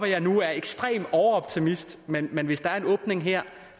jeg nu er ekstrem overoptimist men men hvis der er en åbning her